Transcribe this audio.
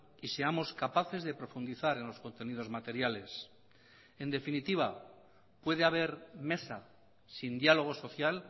y seamos capaces de profundizar en los contenidos materiales en definitiva puede haber mesa sin diálogo social